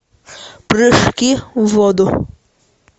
прыжки в воду